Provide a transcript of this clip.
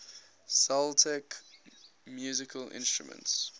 celtic musical instruments